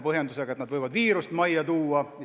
Põhjendus oli, et nad võivad viiruse majja tuua.